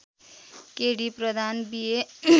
के D Pradhan B ए